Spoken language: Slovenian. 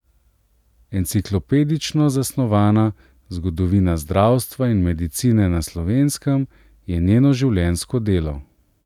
Enciklopedično zasnovana Zgodovina zdravstva in medicine na Slovenskem je njeno življenjsko delo.